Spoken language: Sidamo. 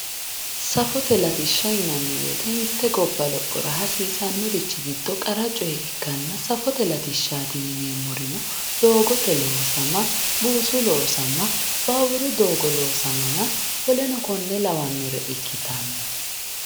safote latishsha yinanni woyiite mitte gobba lophora hasiisannorichi giddo qara coye ikkanna safote latishshaati yineemmorino doogote loosama buusu loosama baawuru loosamanna woleno kuri labbannore ikkitanno